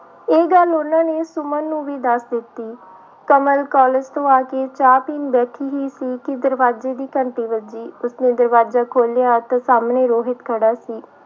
ਇਹ ਗੱਲ ਉਹਨਾਂ ਨੇ ਸੁਮਨ ਨੂੰ ਵੀ ਦੱਸ ਦਿੱਤੀ ਕਮਲ college ਤੋਂ ਆ ਕੇ ਚਾਹ ਪੀਣ ਬੈਠੀ ਹੀ ਸੀ ਕਿ ਦਰਵਾਜ਼ੇ ਦੀ ਘੰਟੀ ਵੱਜੀ, ਉਸਨੇ ਦਰਵਾਜ਼ਾ ਖੋਲਿਆ ਅਤੇ ਸਾਹਮਣੇ ਰੋਹਿਤ ਖੜਾ ਸੀ।